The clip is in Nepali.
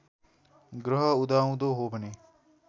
ग्रह उदाउँदो हो भने